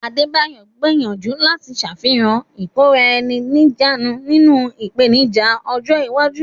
Adebayo ń gbèrò láti ṣàfihàn ìkóra-ẹni-níjàánu nínú ìpèníjà ọjọ́ iwájú.